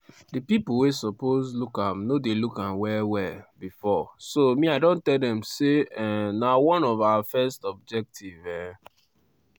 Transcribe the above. "di pipo wey suppose look am no dey look am well-well bifor so me i don tell dem say um na one of our first objective. um